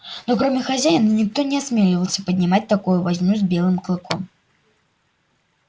но кроме хозяина никто не осмеливался поднимать такую возню с белым клыком